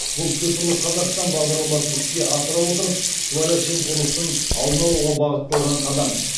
бұл цифрлық қазақстан бағдарламасын іске асыра отырып сыбайлас жемқорлықтың алдын алуға бағытталған қадам